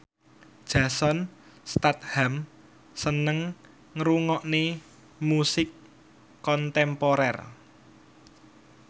Jason Statham seneng ngrungokne musik kontemporer